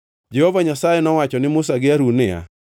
Jehova Nyasaye nowacho ne Musa gi Harun niya,